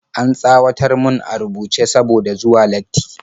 An tsawatar mun a rubuce saboda zuwa latti